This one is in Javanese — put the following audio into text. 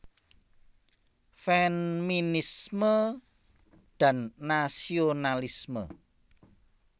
Feminisme dan Nasionalisme